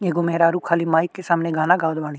एगो मेहरारू खाली माइक के सामने गाना गावत बाड़ी।